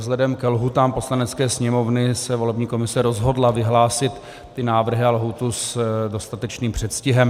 Vzhledem ke lhůtám Poslanecké sněmovny se volební komise rozhodla vyhlásit ty návrhy a lhůtu s dostatečným předstihem.